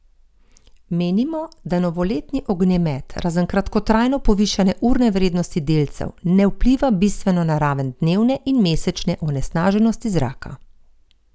Menimo, da novoletni ognjemet razen kratkotrajno povišane urne vrednosti delcev ne vpliva bistveno na raven dnevne in mesečne onesnaženosti zraka.